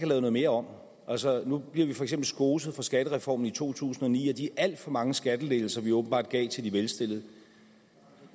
noget mere om nu bliver vi for eksempel skoset for skattereformen i to tusind og ni og de alt for mange skattelettelser vi åbenbart gav til de velstillede